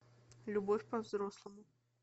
любовь по взрослому